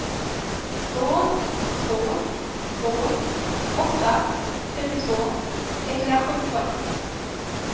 två två två åtta trettiotvå etthundrasjutton